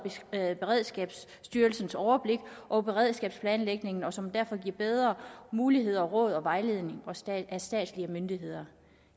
beredskabsstyrelsens overblik over beredskabsplanlægningen og som derfor giver bedre mulighed for råd og vejledning af statslige myndigheder